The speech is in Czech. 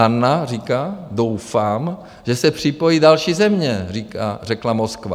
Anna říká - "Doufám, že se připojí další země, řekla Moskva."